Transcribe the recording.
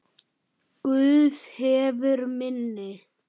Guð hefur minni.